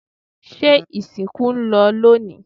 se ìsìnkú ń lọ lónìí?